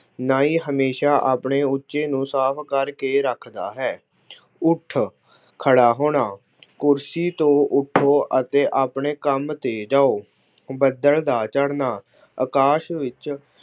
ਨਾਈ ਹਮੇਸ਼ਾ ਆਪਣੇ ਉੱਚੇ ਨੂੰ ਸਾਫ ਕਰਕੇ ਰੱਖਦਾ ਹੇ। ਉੱਠ ਖੜ੍ਹਾ ਹੋਣਾ- ਕੁਰਸੀ ਤੋਂ ਉੱਠੋ ਅਤੇ ਆਪਣੇ ਕੰਮ ਤੇ ਜਾਉ। ਬੱਦਲ ਦਾ ਚੜ੍ਹਨਾ- ਅਕਾਸ਼ ਵਿੱਚ